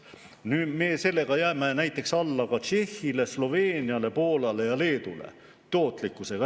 Selle tootlikkusega ehk tööviljakusega me jääme näiteks alla ka Tšehhile, Sloveeniale, Poolale, Leedule.